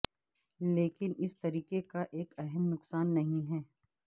لیکن اس طریقے کا ایک اہم نقصان نہیں ہے